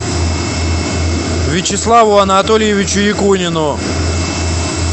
вячеславу анатольевичу якунину